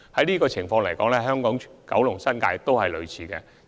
事實上，香港、九龍和新界也有類似的情況。